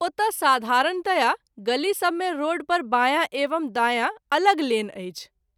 ओतय साधारणतया गली सभ मे रोड पर बाँया एवं दायाँ अलग लेन अछि।